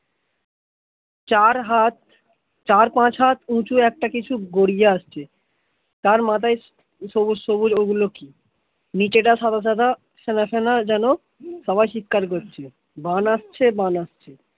চার হাত চার-পাঁচ হাত উচু একটা কিছু গড়িয়ে আসছে তার মাথায় সবুজ সবুজ ওগুলো কি? নিচেটা সাদা সাদা ফেনা ফেনা যেন সবাই চিৎকার করছে বান আসছে বান আসছে